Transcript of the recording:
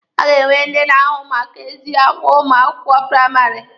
A ga-enwe ndị na-ahụ maka ezi agwa ụmụ akwụkwọ praịmarị.